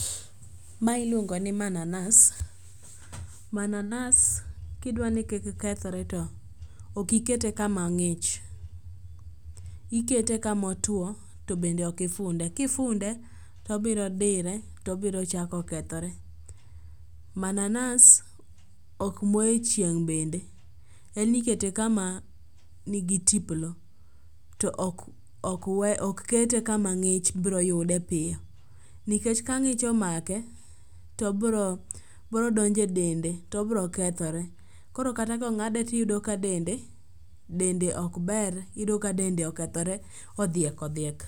Mae iluongo ni mananas ,mananas ki idwa ni kik kethre to ok okete ka ma ng'ich ikete ka ma otwo to bende ok ifunde. Ki ifunde to obiro dire to obiro chako kethre. Mananas ok moye e chieng' bende. En ikete ka ma ni gi tiplo to ok weye ok kete ka ma ng'ich biro yude piyo nikech ka ng'ich omake to bro donjo e dend to obiro kethore. Koro kata ka ong'ade to iyudo ka dende, dende ok ber iyudo ka dende okethore odhiek odhiek.